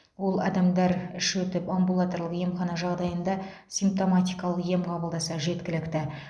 ол адамдар іш өтіп амбулаторлық емхана жағдайында симптоматикалық ем қабылдаса жеткілікті